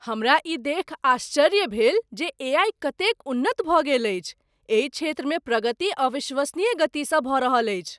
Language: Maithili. हमरा ई देखि आश्चर्य भेल जे एआई कतेक उन्नत भऽ गेल अछि। एहि क्षेत्रमे प्रगति अविश्वसनीय गतिसँ भऽ रहल अछि।